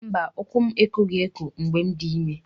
Mba, ukwu m ekoghị eko mgbe m dị ime.